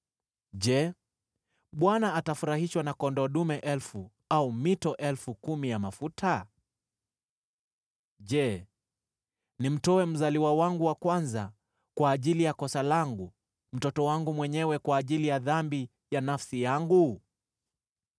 Je, Bwana atafurahishwa na kondoo dume elfu, au mito elfu kumi ya mafuta? Je, nimtoe mzaliwa wangu wa kwanza kwa ajili ya kosa langu, mtoto wangu mwenyewe kwa ajili ya dhambi ya nafsi yangu?